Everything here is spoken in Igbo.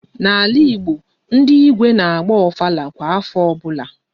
N'ala Igbo, ndị Igwe n'agba Ofala kwa afọ ọbụla